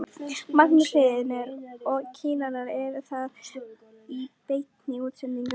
Magnús Hlynur: Og kýrnar eru þarna í beinni útsendingu?